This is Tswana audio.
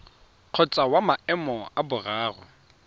kgotsa wa maemo a boraro